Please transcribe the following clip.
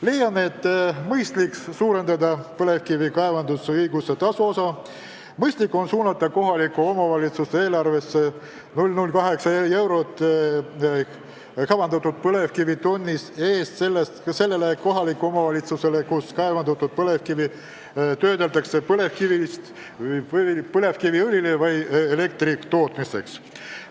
Leiame, et mõistlik on suurendada põlevkivi kaevandusõiguse tasust laekuvat osa, mõistlik on suunata 0,08 eurot kaevandatud põlevkivitonni eest selle kohaliku omavalitsuse eelarvesse, kus kaevandatud põlevkivi töödeldakse põlevkiviõli või elektri tootmiseks.